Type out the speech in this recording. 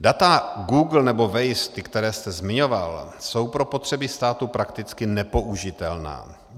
Data Google nebo Waze, ta, která jste zmiňoval, jsou pro potřeby státu prakticky nepoužitelná.